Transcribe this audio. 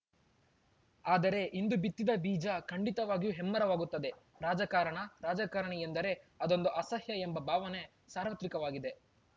ಆದರೆ ಇಂದು ಬಿತ್ತಿದ ಬೀಜ ಖಂಡಿತವಾಗಿಯೂ ಹೆಮ್ಮೆರವಾಗುತ್ತದೆ ರಾಜಕಾರಣ ರಾಜಕಾರಣಿ ಎಂದರೆ ಅದೊಂದು ಅಸಹ್ಯ ಎಂಬ ಭಾವನೆ ಸಾರ್ವತ್ರಿಕವಾಗಿದೆ